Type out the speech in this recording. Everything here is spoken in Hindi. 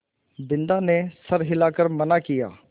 बिन्दा ने सर हिला कर मना किया